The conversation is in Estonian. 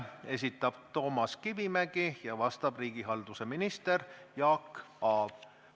Esitab Toomas Kivimägi ja vastab riigihalduse minister Jaak Aab.